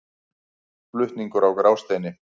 Flutningur á Grásteini.